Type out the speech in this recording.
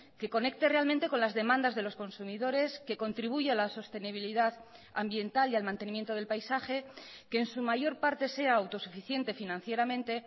que conecte realmente con las demandas de los consumidores que contribuya a la sostenibilidad ambiental y al mantenimiento del paisaje que en su mayor parte sea autosuficiente financieramente